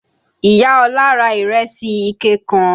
Ìyá Ọlá ra ìrèsì ike kan